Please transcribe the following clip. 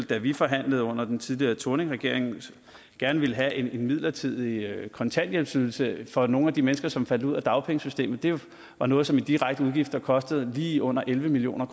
da vi forhandlede under den tidligere thorningregering gerne ville have en midlertidig kontanthjælpsydelse for nogle af de mennesker som faldt ud af dagpengesystemet det var noget som i direkte udgifter kostede lige under elleve million